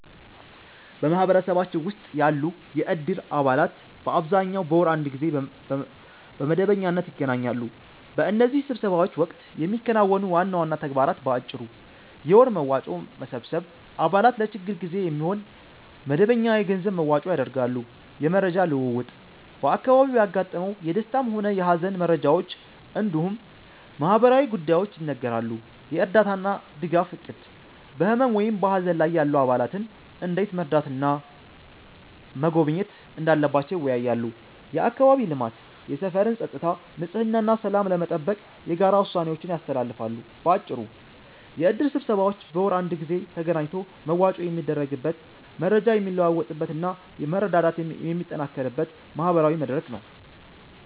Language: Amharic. በማህበረሰባችን ውስጥ ያሉ የእድር አባላት በአብዛኛው በወር አንድ ጊዜ በመደበኛነት ይገናኛሉ። በእነዚህ ስብሰባዎች ወቅት የሚከናወኑ ዋና ዋና ተግባራት በአጭሩ፦ የወር መዋጮ መሰብሰብ፦ አባላት ለችግር ጊዜ የሚሆን መደበኛ የገንዘብ መዋጮ ያደርጋሉ። የመረጃ ልውውጥ፦ በአካባቢው ያጋጠሙ የደስታም ሆነ የሃዘን መረጃዎች እንዲሁም ማህበራዊ ጉዳዮች ይነገራሉ። የእርዳታና ድጋፍ እቅድ፦ በህመም ወይም በሃዘን ላይ ያሉ አባላትን እንዴት መርዳትና መጎብኘት እንዳለባቸው ይወያያሉ። የአካባቢ ልማት፦ የሰፈርን ፀጥታ፣ ንጽህና እና ሰላም ለመጠበቅ የጋራ ውሳኔዎችን ያስተላልፋሉ። ባጭሩ፤ የእድር ስብሰባዎች በወር አንድ ጊዜ ተገናኝቶ መዋጮ የሚደረግበት፣ መረጃ የሚለዋወጥበት እና መረዳዳት የሚጠናከርበት ማህበራዊ መድረክ ነው።